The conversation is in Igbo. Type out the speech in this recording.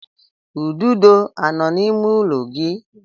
Ududo anọ n'ime ụlọ gị?